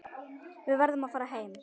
Verður að fara heim.